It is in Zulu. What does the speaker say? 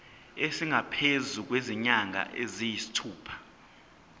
esingaphezu kwezinyanga eziyisithupha